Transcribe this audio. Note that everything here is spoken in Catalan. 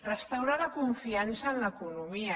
restaurar la confiança en l’economia